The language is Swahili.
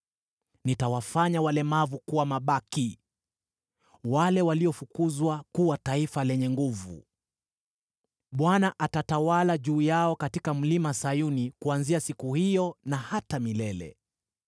Nitawafanya walemavu kuwa mabaki, wale waliofukuzwa kuwa taifa lenye nguvu. Bwana atatawala juu yao katika Mlima Sayuni kuanzia siku hiyo na hata milele.